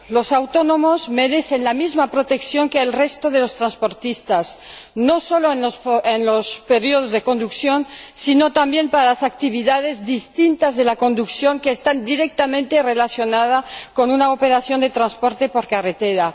Los autónomos merecen la misma protección que el resto de los transportistas, no sólo en los periodos de conducción, sino también para las actividades distintas de la conducción, que están directamente relacionadas con una operación de transporte por carretera.